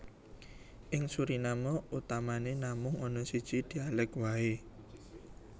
Ing Suriname utamané namung ana siji dhialèk waé